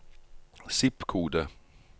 zip-kode